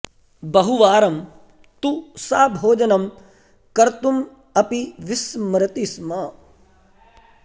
बहुवारं तु सा भोजनं कर्तुम् अपि विस्मरति स्म